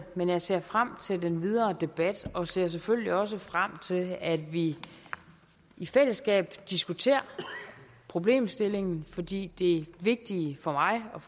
men jeg ser frem til den videre debat og ser selvfølgelig også frem til at vi i fællesskab diskuterer problemstillingen fordi det vigtige for mig og